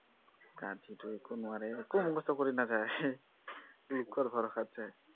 গাধীটো একো নোৱাৰে, একো মুখস্থ কৰিস নাযায়, লোকৰ ভৰসাত যায়।